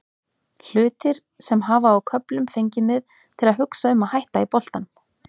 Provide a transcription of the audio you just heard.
Hlutir sem hafa á köflum fengið mig til að hugsa um að hætta í boltanum.